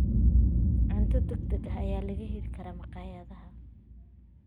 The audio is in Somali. Cunto degdeg ah ayaa laga heli karaa makhaayadaha.